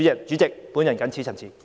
主席，我謹此陳辭。